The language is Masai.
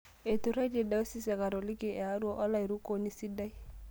Eituraitie diocese e katoliki e Arua olairukoni sidai